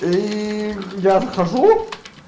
ии я захожу